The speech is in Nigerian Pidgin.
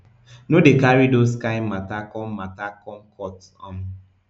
no dey carry dos kain mata come mata come court um